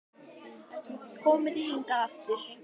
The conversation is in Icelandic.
Komið þið hingað aftur!